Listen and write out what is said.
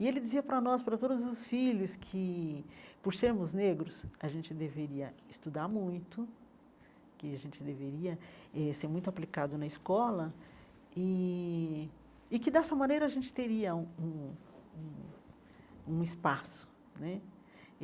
E ele dizia para nós, para todos os filhos que, por sermos negros, a gente deveria estudar muito, que a gente deveria eh ser muito aplicado na escola e e que dessa maneira a gente teria um um um um espaço né.